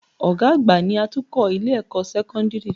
Ọ̀gá àgbà ni atukọ̀ Ilé-ẹ̀kọ́ sẹ́kọ́ńdìrì